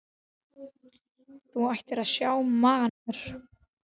Þú ættir að sjá magann á mér.